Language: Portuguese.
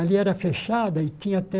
Ali era fechada e tinha até